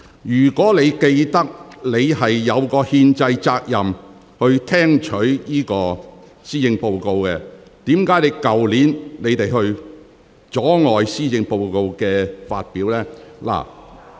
如果你還記得，你有憲制責任聽取施政報告的話，為何你們去年卻阻礙施政報告的發表呢？